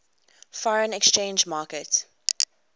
foreign exchange market